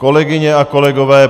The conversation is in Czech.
Kolegyně a kolegové!